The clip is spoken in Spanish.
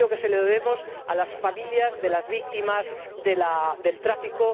Creo que se lo debemos a las familias de las víctimas del tráfico.